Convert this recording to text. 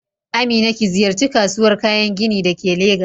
Amina ki ziyarci kasuwar kayan gini da ke Legas